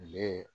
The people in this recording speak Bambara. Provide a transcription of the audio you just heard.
Ne